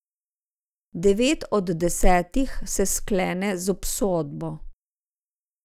Devet od desetih se sklene z obsodbo.